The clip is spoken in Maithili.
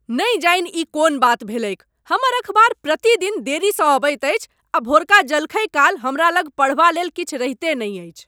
नहि जानि ई कोन बात भेलैक! हमर अखबार प्रतिदिन देरीसँ अबैत अछि आ भोरका जलखैकाल हमरा लग पढ़बालेल किछु रहिते नहि अछि।